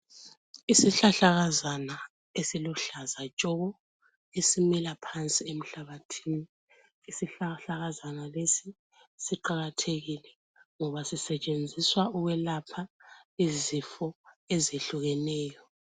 Isihlahlakazana esiluhlaza tshoko, esimila phansi emhlabathini. Siqakathekile ngoba Sisetshenziswa ukwelapha izifo ezihlukeneyo.